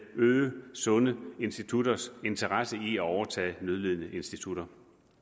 øge sunde institutters interesse i at overtage nødlidende institutter